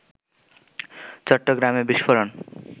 চট্টগ্রামে বিস্ফোরণ